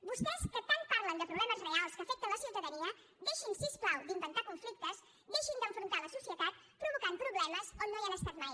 vostès que tant parlen de problemes reals que afecten la ciutadania deixin si us plau d’inventar conflictes deixin d’enfrontar la societat provocant problemes on no hi han estat mai